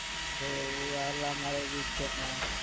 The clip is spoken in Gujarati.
અરે એવું